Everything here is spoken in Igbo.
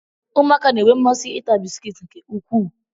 ụmụaka na-enwe mmasị ịta bisikiiti nke ukwuu